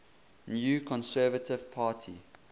new conservative party